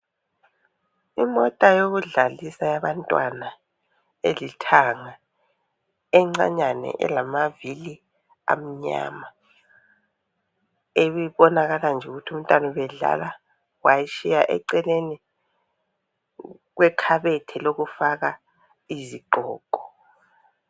Imota yokudlalisa yabantwana elithanga encanyane elamavili amnyama, ebibonakala nje ukuthi umntwana ubedlala wayitshiya eceleni kwekhabethe lokufaka izigqoko.